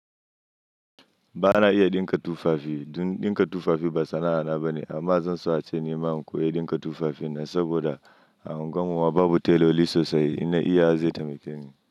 Bana iya ɗinka tufafi. Ɗin-ɗinka tufafi ba sana'ana ba ne amma zan so ace ni ma in koyi ɗinka tufafi na saboda a unguwarmu babu tailorli sosai ina iya zai taimake ni.